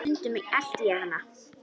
Stundum elti ég hana.